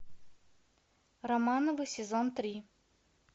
романовы сезон три